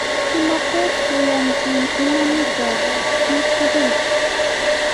Kimakwech keyanchi imanit ab chii tugul